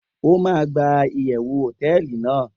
o ma gba iyewu hoteeli nàá